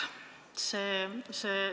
Vaatame seletuskirja.